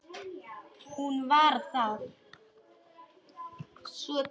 Hún var það.